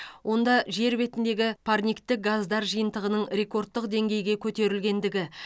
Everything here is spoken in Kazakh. онда жер бетіндегі парниктік газдар жиынтығының рекордтық деңгейге көтерілгендігі